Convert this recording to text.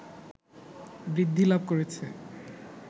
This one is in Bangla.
বৃদ্ধিলাভ করেছে